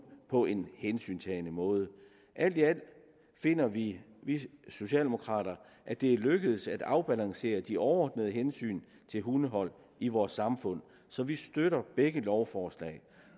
på en hensyntagende måde alt i alt finder vi socialdemokrater at det er lykkedes at afbalancere de overordnede hensyn til hundehold i vores samfund så vi støtter begge lovforslag